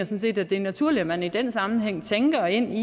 set at det er naturligt at man i den sammenhæng tænker ind i